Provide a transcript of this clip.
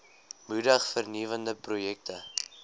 moedig vernuwende projekte